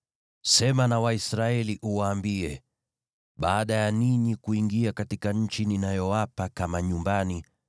“Sema na Waisraeli uwaambie: ‘Baada ya ninyi kuingia katika nchi ninayowapa kama nyumbani,